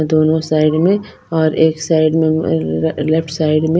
दोनों साइड में और एक साइड में लेफ्ट साइड में--